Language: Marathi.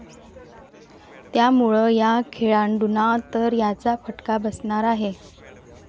त्यामुळं या खेळाडूंना तर याचा फटका बसणार आहे.